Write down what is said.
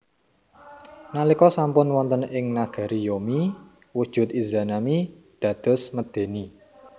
Nalika sampun wonten ing nagari Yomi wujud Izanami dados medèni